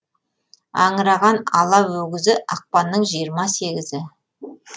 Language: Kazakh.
аңыраған ала өгізі ақпанның жиырма сегізі